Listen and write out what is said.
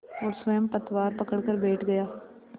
और स्वयं पतवार पकड़कर बैठ गया